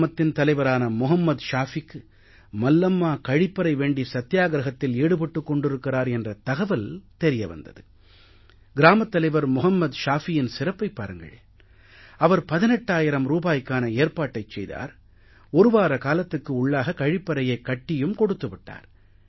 கிராமத்தின் தலைவரான மொஹம்மத் ஷாஃபிக்கு மல்லம்மா கழிப்பறை வேண்டி சத்தியாகிரஹத்தில் ஈடுபட்டுக் கொண்டிருக்கிறார் என்ற தகவல் தெரிய வந்தது கிராமத் தலைவர் மொஹம்மத் ஷாஃபியின் சிறப்பையும் பாருங்கள் அவர் 18000 ரூபாய்க்கான ஏற்பாட்டைச் செய்தார் ஒரு வார காலத்துக்கு உள்ளாக கழிப்பறையை கட்டியும் கொடுத்து விட்டார்